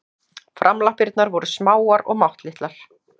Framlappirnar voru smáar og máttlitlar.